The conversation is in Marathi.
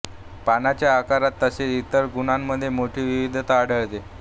पानांच्या आकारात तसेच इतर गुणांमधे मोठी विविधता आढळते